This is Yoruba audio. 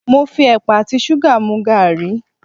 Mo fi ẹ̀pà àti ṣúgà mu gàrí.